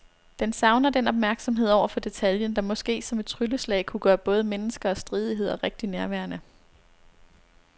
Den savner den opmærksomhed over for detaljen, der måske som et trylleslag kunne gøre både mennesker og stridigheder rigtig nærværende.